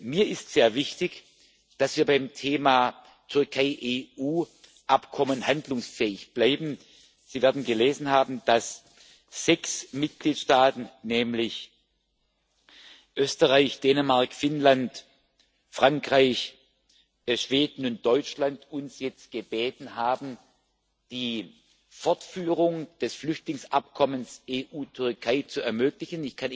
Mir ist sehr wichtig, dass wir beim Thema Türkei EU Abkommen handlungsfähig bleiben. Sie werden gelesen haben, dass sechs Mitgliedstaaten nämlich Österreich, Dänemark, Finnland, Frankreich, Schweden und Deutschland uns jetzt gebeten haben, die Fortführung des Flüchtlingsabkommens EU Türkei zu ermöglichen.